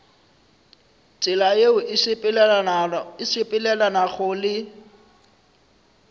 tsela yeo e sepelelanago le